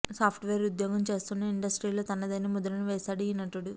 soft wear ఉద్యోగం చేస్తూనే ఇండస్ట్రీలో తనదైన ముద్రను వేసాడు ఈ నటుడు